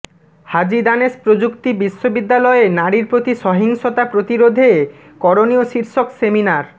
হাজী দানেশ প্রযুক্তি বিশ্ববিদ্যালয়ে নারীর প্রতি সহিংসতা প্রতিরাধে করণীয় শীর্ষক সেমিনার